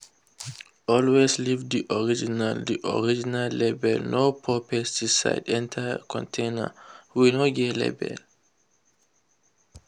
always leave the original the original label—no pour pesticide enter container wey no get label.